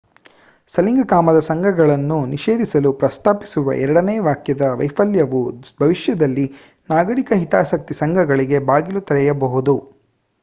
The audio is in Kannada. ಸಲಿಂಗ ಕಾಮದ ಸಂಘಗಳನ್ನು ನಿಷೇಧಿಸಲು ಪ್ರಸ್ತಾಪಿಸುವ ಎರಡನೇ ವಾಕ್ಯದ ವೈಫಲ್ಯವು ಭವಿಷ್ಯದಲ್ಲಿ ನಾಗರಿಕ ಹಿತಾಸಕ್ತಿ ಸಂಘಗಳಿಗೆ ಬಾಗಿಲು ತೆರೆಯಬಹುದು